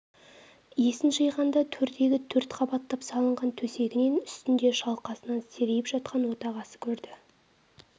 есін жиғанда төрдегі төрт қабаттап салынған төсегінің үстінде шалқасынан серейіп жатқан отағасы көрді